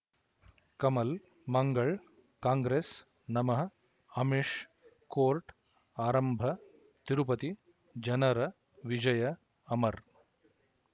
Kamal Mangal Congress ನಮಃ Amish court ಆರಂಭ ತಿರುಪತಿ ಜನರ ವಿಜಯ ಅಮರ್